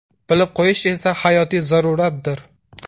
Bilib qo‘yish esa hayotiy zaruratdir.